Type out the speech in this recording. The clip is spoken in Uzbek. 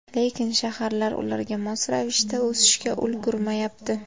Lekin shaharlar ularga mos ravishda o‘sishga ulgurmayapti.